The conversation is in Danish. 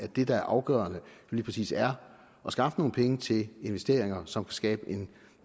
at det der er afgørende lige præcis er at skaffe nogle penge til investeringer som kan skabe en